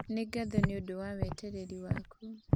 Nĩ ngatho nĩ ũndũ wa wetereri waku